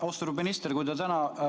Austatud minister!